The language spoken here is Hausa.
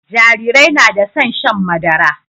Jarirai na da son shan madara